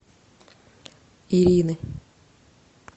ирины